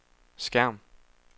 skærm